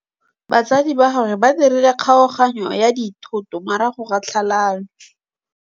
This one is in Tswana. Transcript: Batsadi ba gagwe ba dirile kgaoganyô ya dithoto morago ga tlhalanô.